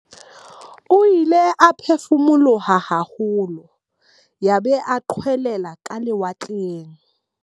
O ile a phefumoloha haholo yaba o qwelela ka lewatleng.